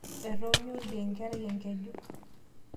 Etoonyo oldia enkerai engeju.